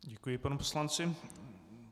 Děkuji panu poslanci.